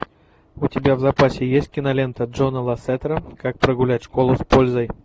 у тебя в запасе есть кинолента джона лассетера как прогулять школу с пользой